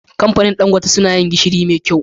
Kamfanin dan gote suna yin gishiri me kyau